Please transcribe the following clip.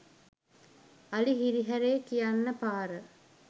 අලි හිරිහැරේ කියන්න පාර